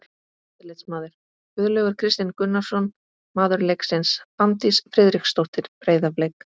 Eftirlitsmaður: Guðlaugur Kristinn Gunnarsson Maður leiksins: Fanndís Friðriksdóttir, Breiðablik.